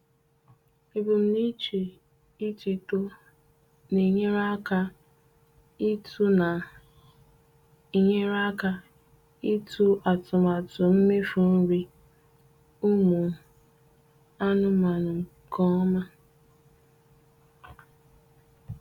Ebumnuche itito na-enyere aka ịtụ na-enyere aka ịtụ atụmatụ mmefu nri umu aụmanụe nke ọma.